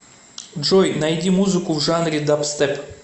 джой найди музыку в жанре дабстеп